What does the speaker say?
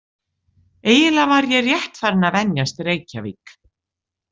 Eiginlega var ég rétt farin að venjast Reykjavík